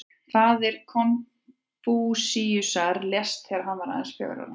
Faðir Konfúsíusar lést þegar hann var aðeins fjögurra ára.